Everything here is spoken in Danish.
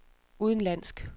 udenlandsk